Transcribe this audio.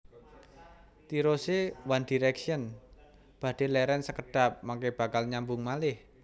Tirose One Direction badhe leren sekedhap mengke bakal nyambung malih